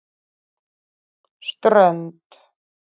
Strönd